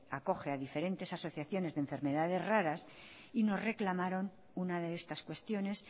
acoge a diferentes asociaciones de enfermedades raras y nos reclamaron una de estas cuestiones